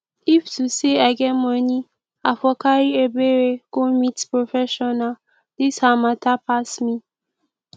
if to say i get money i for carry ebere go meet professional dis her matter pass me